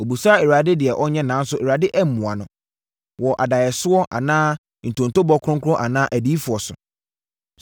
Ɔbisaa Awurade deɛ ɔnyɛ nanso Awurade ammua no, wɔ adaeɛsoɔ anaa ntontobɔ kronkron anaa adiyifoɔ so.